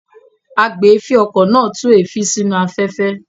Agbèéfín-okọ̀ náà tú èéfín sínú afẹ́fẹ́.